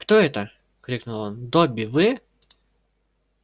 кто это крикнул он добби вы